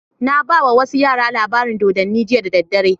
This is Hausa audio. Na baiwa wasu yara labarin dodanni jiya da daddare